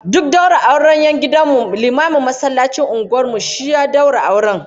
Duk daura auren 'yan gidan mu, limamin masallacin unguwar mu shi ya daura auren